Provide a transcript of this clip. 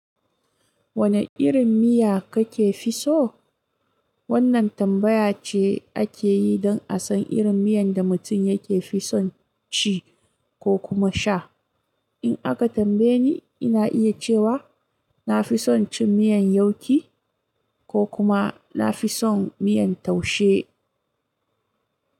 Wane irin miya ka fi so? Wannan tambaya ce ake yi don a san irin miyan da mutum ya fi son ci ko kuma sha. In aka tambaye ni, ina iya cewa na fi son cin miyan yauƙi ko kuma na fi son miyan taushe.